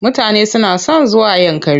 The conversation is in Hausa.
Mutane suna son zuwa Yankari.